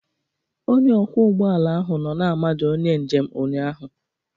Onye ọkwọ ụgbọ ala ahụ nọ na-amaja onye njem ụnyahụ